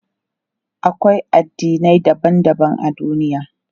Akwai addinai daban daban a duniya.